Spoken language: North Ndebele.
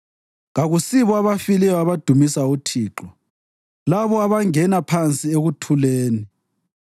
Kakusibo abafileyo abadumisa uThixo, labo abangena phansi ekuthuleni;